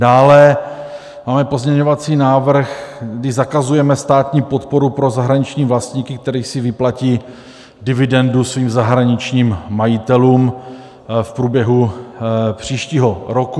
Dále máme pozměňovací návrh, kdy zakazujeme státní podporu pro zahraniční vlastníky, kteří si vyplatí dividendu svým zahraničním majitelům v průběhu příštího roku.